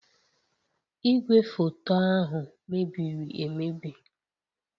Igwefoto ahụ mebiri emebi